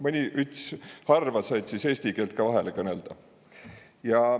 Mõni üts harv kord sait sõs eesti kiilt kah vahele kõnelda.